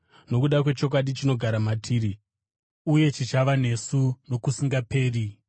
nokuda kwechokwadi chinogara matiri uye chichava nesu nokusingaperi: